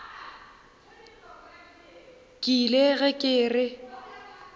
ke ile ge ke re